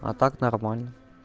а так нормально